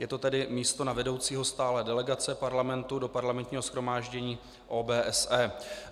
Je to tedy místo na vedoucího stálé delegace Parlamentu do Parlamentního shromáždění OBSE.